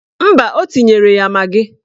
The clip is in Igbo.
Mba, o tinyere ya magị